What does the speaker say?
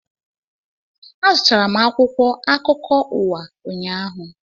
Azụtara m akwụkwọ akụkọ ụwa ụnyaahụ